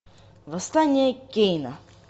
восстание кейна